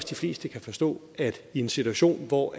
de fleste kan forstå at i en situation hvor